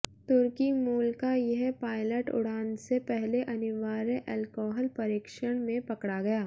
तुर्की मूल का यह पायलट उड़ान से पहले अनिवार्य एल्कोहल परीक्षण में पकड़ा गया